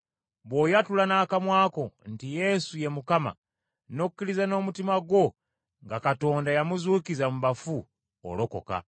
Bw’oyatula n’akamwa ko nti, Yesu ye Mukama, n’okkiriza n’omutima gwo nga Katonda yamuzuukiza mu bafu, olokoka.